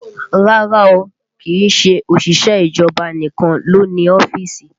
Rárá o, kìí ṣe òṣìṣẹ́ ìjọba nìkan ló ń ní ọ́fíìsì